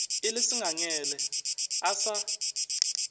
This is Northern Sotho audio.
e le sengangele a sa